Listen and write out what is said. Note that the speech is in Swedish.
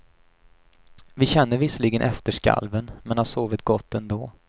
Vi känner visserligen efterskalven, men har sovit gott ändå.